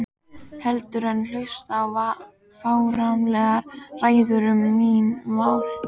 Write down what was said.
Heldur en hlusta á fáránlegar ræður um mín mál.